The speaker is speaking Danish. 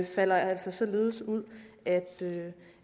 falder altså således ud